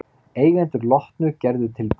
Eigendur Lotnu gerðu tilboð